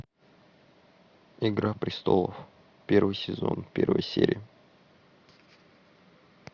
игра престолов первый сезон первая серия